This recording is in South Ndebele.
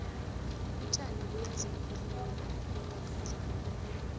utjani buyazi khulela ngophandle kumuntu